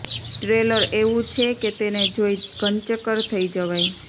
trailer એવું છે કે તેને જોઈ ઘનચક્કર થઈ જવાય